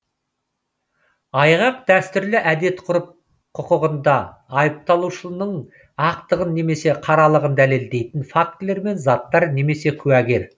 айғақ дәстүрлі әдет ғұрып құқығында айыпталушының ақтығын немесе қаралығын дәлелдейтін фактілер мен заттар немесе куәгер